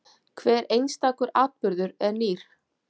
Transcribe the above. Hver einstakur atburður er nýr.